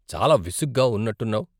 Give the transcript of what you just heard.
చాలా విసుగ్గా ఉన్నట్టున్నావు.